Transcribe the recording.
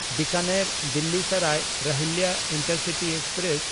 ᱵᱤᱠᱟᱱᱮᱨ–ᱫᱤᱞᱞᱤ Sarai ᱨᱚᱦᱤᱞᱞᱟ intercity express